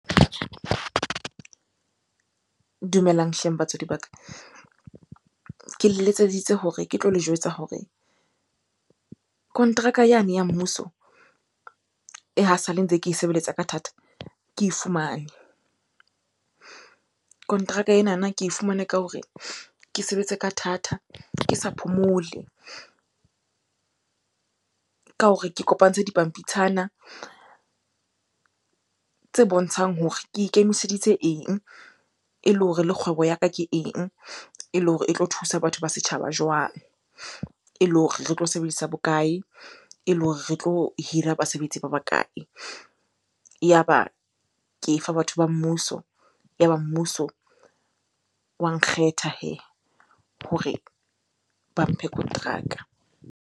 Dumelang hleng batswadi ba ka. Ke le letseditse hore ke tlo le jwetsa hore kontraka yane ya mmuso e ha sale ntse ke sebeletsa ka thata ke e fumane. Kontraka enana ke e fumane ka hore ke sebetse ka thata, ke sa phomole. Ka hore ke kopantshe dipampitshana tse bontshang hore ke ikemiseditse eng? E le hore le kgwebo ya ka ke eng? E le hore e tlo thusa batho ba setjhaba jwang? E le hore re tlo sebedisa bokae? Ele hore re tlo hira basebetsi ba bakae? Yaba ke e fa batho ba mmuso, yaba mmuso wa nkgetha hee hore ba mphe kontraka.